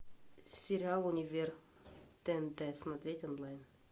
сериал универ тнт смотреть онлайн